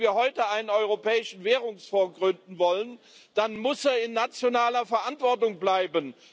Und wenn wir heute einen Europäischen Währungsfonds gründen wollen, dann muss er in nationaler Verantwortung bleiben.